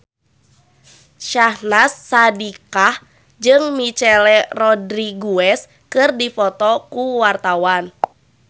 Syahnaz Sadiqah jeung Michelle Rodriguez keur dipoto ku wartawan